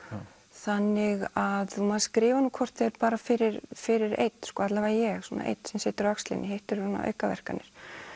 þannig að maður skrifar nú hvort eð er bara fyrir fyrir einn alla vega ég svona einn sem situr á öxlinni hitt eru aukaverkanir